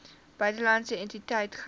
buitelandse entiteit gehou